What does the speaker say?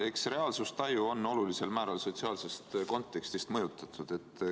Eks reaalsustaju ole olulisel määral mõjutatud sotsiaalsest kontekstist.